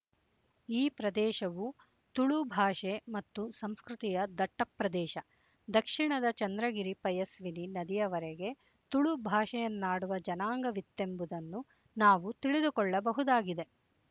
ಈ ಪ್ರದೇಶವು ತುಳು ಭಾಷೆ ಮತ್ತು ಸಂಸ್ಕೃತಿಯ ದಟ್ಟಪ್ರದೇಶ ದಕ್ಷಿಣದ ಚಂದ್ರಗಿರಿ ಪಯಸ್ವಿನಿ ನದಿಯವರೆಗೆ ತುಳು ಭಾಷೆಯನ್ನಾಡುವ ಜನಾಂಗವಿತ್ತೆಂಬುದನ್ನು ನಾವು ತಿಳಿದುಕೊಳ್ಳಬಹುದಾಗಿದೆ